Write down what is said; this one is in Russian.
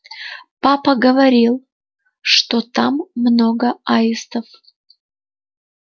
папа говорил что там много аистов